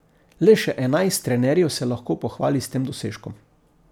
Le še enajst trenerjev se lahko pohvali s tem dosežkom.